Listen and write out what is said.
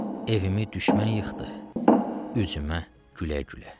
Evimi düşmən yıxdı, üzümə gülə-gülə.